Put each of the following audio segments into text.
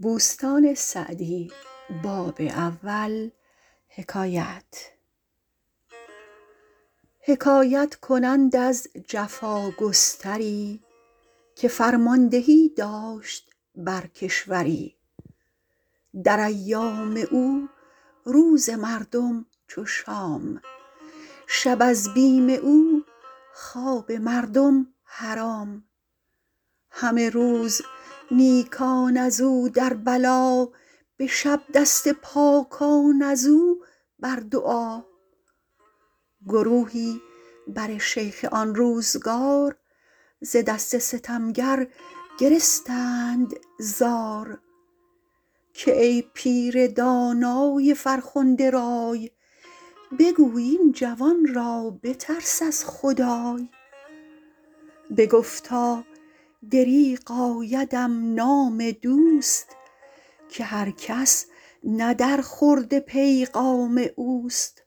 حکایت کنند از جفاگستری که فرماندهی داشت بر کشوری در ایام او روز مردم چو شام شب از بیم او خواب مردم حرام همه روز نیکان از او در بلا به شب دست پاکان از او بر دعا گروهی بر شیخ آن روزگار ز دست ستمگر گرستند زار که ای پیر دانای فرخنده رای بگوی این جوان را بترس از خدای بگفتا دریغ آیدم نام دوست که هر کس نه در خورد پیغام اوست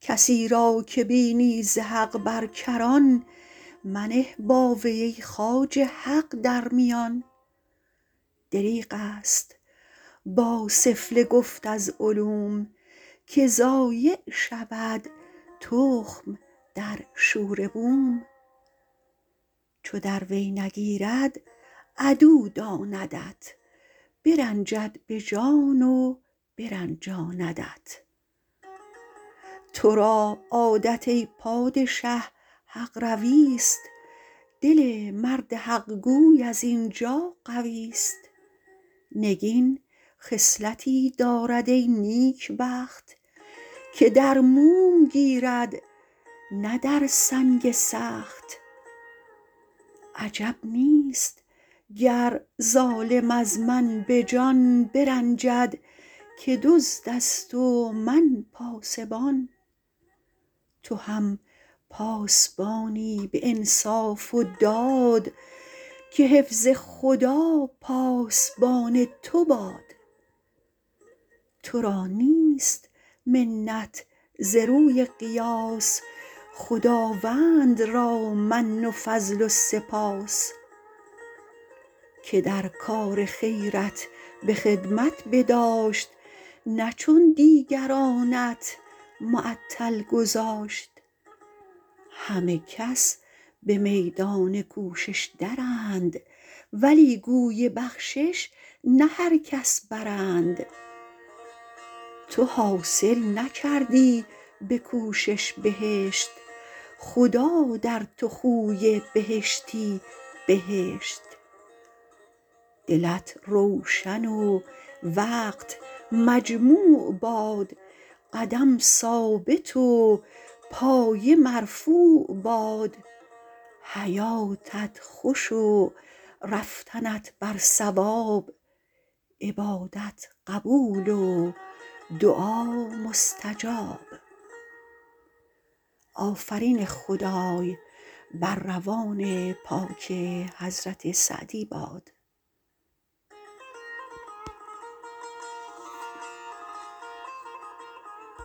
کسی را که بینی ز حق بر کران منه با وی ای خواجه حق در میان دریغ است با سفله گفت از علوم که ضایع شود تخم در شوره بوم چو در وی نگیرد عدو داندت برنجد به جان و برنجاندت تو را عادت ای پادشه حق روی است دل مرد حق گوی از این جا قوی است نگین خصلتی دارد ای نیکبخت که در موم گیرد نه در سنگ سخت عجب نیست گر ظالم از من به جان برنجد که دزد است و من پاسبان تو هم پاسبانی به انصاف و داد که حفظ خدا پاسبان تو باد تو را نیست منت ز روی قیاس خداوند را من و فضل و سپاس که در کار خیرت به خدمت بداشت نه چون دیگرانت معطل گذاشت همه کس به میدان کوشش درند ولی گوی بخشش نه هر کس برند تو حاصل نکردی به کوشش بهشت خدا در تو خوی بهشتی بهشت دلت روشن و وقت مجموع باد قدم ثابت و پایه مرفوع باد حیاتت خوش و رفتنت بر صواب عبادت قبول و دعا مستجاب